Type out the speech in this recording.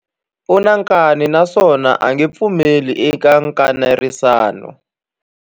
U na nkani naswona a nge pfumeli eka nkanerisano.